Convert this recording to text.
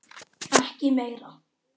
Ekki meira.